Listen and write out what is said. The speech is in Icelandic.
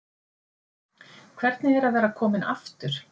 Hvernig er að vera kominn aftur?